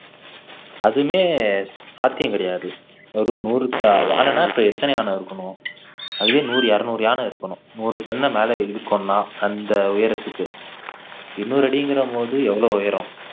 அதுமே சாத்தியம் கிடையாது ஒரு நூறுக்கு யானைனா அப்போ எத்தனை யானை இருக்கணும் அதுவே நூறு இருநூறு யானை இருக்கணும் ஒரு டன்ன மேல இழுக்கணும்னா அந்த உயரத்துக்கு எண்ணூறு அடிங்கறம்போது எவ்வளவு உயரம்